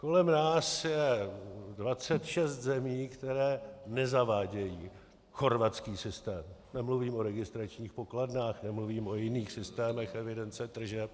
Kolem nás je 26 zemí, které nezavádějí chorvatský systém - nemluvím o registračních pokladnách, nemluvím o jiných systémech evidence tržeb.